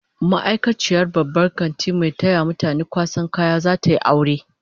Ma'aikaciyar babban kantin mai taya mutane kwasan kaya, zata yi aure